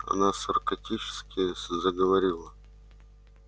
она саркастически заговорила